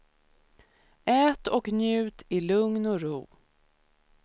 Ät och njut i lugn och ro.